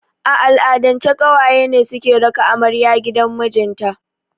A al'adance ƙawaye ne suke raka amarya gidan mijinta